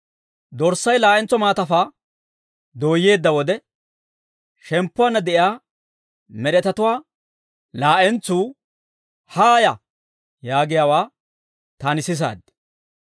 Dorssay laa'entso maatafaa dooyyeedda wode, shemppuwaanna de'iyaa med'etatuwaa laa'entsuu, «Haaya!» yaagiyaawaa, taani sisaad.